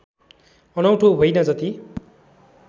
अनौठो होइन जति